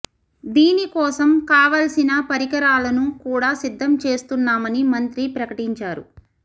దీని కోసం కావాల్సిన పరికరాలను కూడా సిద్దం చేస్తున్నామని మంత్రి ప్రకటించారు